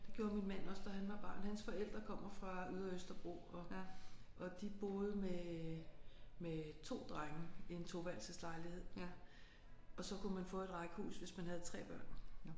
Det gjorde min mand også da han var barn. Hans forældre kommer fra ydre Østerbro og og de boede med med 2 drenge i en toværelses lejlighed og så kunne man få et rækkehus hvis man havde 3 børn